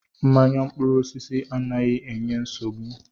Mmanya mkpụrụ osisi anaghị enye nsogbu.